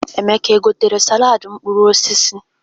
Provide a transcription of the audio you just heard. Emeka o gotere saladị mkpụrụ osisi?